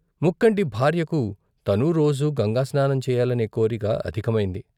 ముక్కంటి భార్యకు తనూ రోజూ గంగాస్నానం చేయాలనే కోరిక ' అధికమైంది.